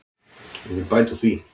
Ég vil bæta úr því.